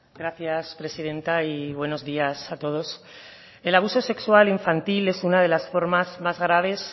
gracias presidenta y buenos días a todos el abuso sexual infantil es una de las formas más graves